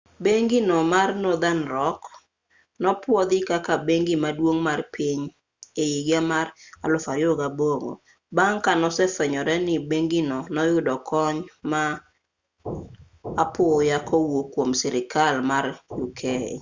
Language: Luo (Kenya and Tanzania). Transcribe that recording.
bengi no mar northern rock nopwodhi kaka bengi maduong' mar piny e higa mar 2008 bang' ka nosefwenyore ni bengino noyudo kony ma apoya kowuok kwom sirkal mar uk